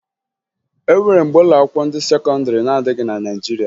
E nwere mgbe ụlọakwụkwọ ndị sekọndịrị na-adịghị na Naịjirịa